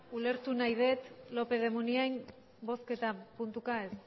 ulertu nahi det lópez de munain bozketa puntuka ez